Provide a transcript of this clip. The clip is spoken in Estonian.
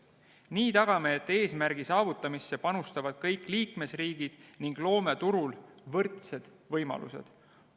Nii tagame, et eesmärgi saavutamisse panustavad kõik liikmesriigid ning loome turul võrdsed võimalused.